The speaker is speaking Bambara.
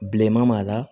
Bilenman b'a la